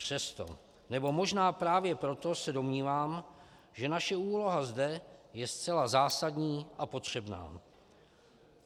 Přesto, nebo možná právě proto se domnívám, že naše úloha zde je zcela zásadní a potřebná.